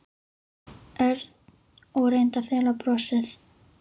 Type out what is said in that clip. Örn og reyndi að fela brosið.